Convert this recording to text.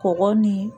Kɔgɔ ni